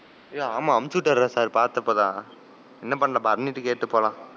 ஏய் ஆமா அனுப்பிச்சிட்டாருடா sir பாத்தேன் இப்ப தான். என்ன பண்ணலாம் பரணிட்ட கேட்டு போலாம்.